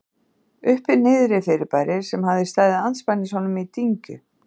Uppi-Niðri-fyrirbæri, sem hafði staðið andspænis honum í dyngju